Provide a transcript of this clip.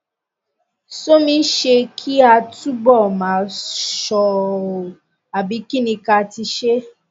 somisṣé kí a túbọ máa ṣọ ọ àbí kí ni ká ti ṣe